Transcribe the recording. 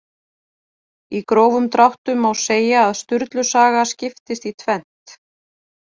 Í grófum dráttum má segja að Sturlu saga skiptist í tvennt.